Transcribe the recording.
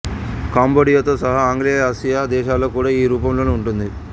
కాంబోడియాతో సహా ఆగ్నేయాసియా దేశాలలో కూడా ఈ రూపంలోనే ఉంటుంది